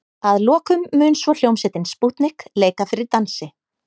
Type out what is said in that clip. Að lokum mun svo hljómsveitin Spútnik leika fyrir dansi.